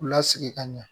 K'u lasigi ka ɲɛ